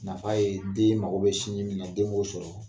Nafa ye deen mago bɛ sinji min na, den ŋ'o sɔrɔ.